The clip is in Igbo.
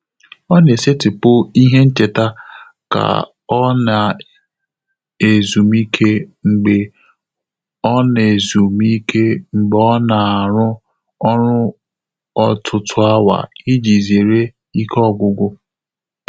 Ọ́ nà-ésétị́pụ̀ ìhè nchéta kà ọ́ nà-ézùmíké mgbè ọ́ nà-ézùmíké mgbè ọ́ nà-árụ́ ọ́rụ́ ọ́tụ́tụ́ áwà ìjí zéré íké ọ́gwụ́gwụ́.